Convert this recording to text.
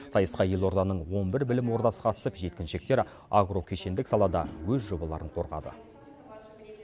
сайысқа елорданың он бір білім ордасы қатысып жеткіншектер агрокешендік салада өз жобаларын қорғады